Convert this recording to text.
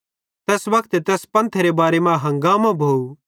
तैस वक्ते तैस पंथेरे बारे मां हंगामो भोव